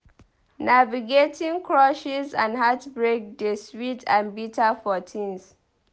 Navigating crushes and heartbreak dey sweet and bitter for teens.